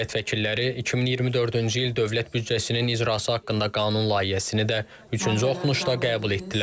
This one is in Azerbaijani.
Millət vəkilləri 2024-cü il dövlət büdcəsinin icrası haqqında qanun layihəsini də üçüncü oxunuşda qəbul etdilər.